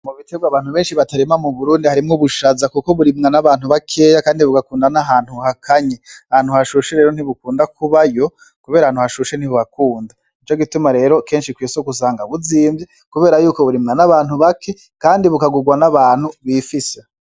Mubiterwa abantu benshi batarima muburindi harimw'ubushaza ,kuko burimwa n'abantu bakeya kandi bugakunda n'ahantu hakanye. Ahantu hashushe rero ntibukunda kubayo kubera ahantu hashushe ntibuhakunda. Nicogituma rero kenshi kw'isoko usanga buzimvye kubera yuko burimwa n'abantu bake kandi bukagurwa n'abantu bifise .